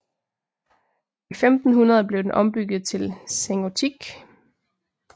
I 1500 blev den ombygget til sengotik